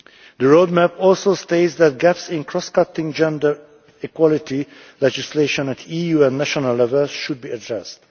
The roadmap also states that gaps in cross cutting gender equality legislation at EU and national levels should be addressed.